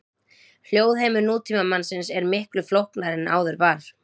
Hljóðheimur nútímamannsins er miklu flóknari en áður var.